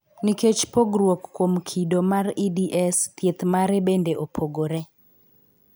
Nikech pogruok kuom kido mar EDS, thieth mare bende opogore.